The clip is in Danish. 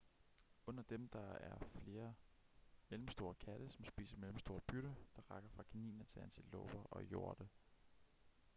under dem er der flere mellemstore katte som spiser mellemstort bytte der rækker fra kaniner til antiloper og hjorte